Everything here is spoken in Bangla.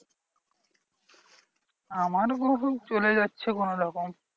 আমার বহু চলে যাচ্ছে কোনোরকম।